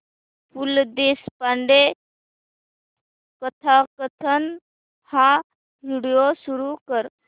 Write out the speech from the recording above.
पु ल देशपांडे कथाकथन हा व्हिडिओ सुरू कर